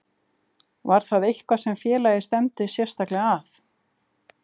Var það eitthvað sem félagið stefndi sérstaklega að?